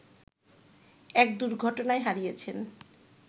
এক দুর্ঘটনায় হারিয়েছেন